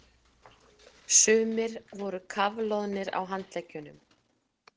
Sumir voru kafloðnir á handleggjunum.